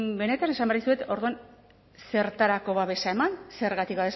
benetan esan behar dizuet orduan zertarako babesa eman zergatik